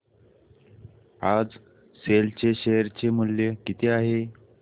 आज सेल चे शेअर चे मूल्य किती आहे